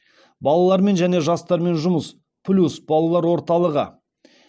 балалармен және жастармен жұмыс плюс балалар орталығы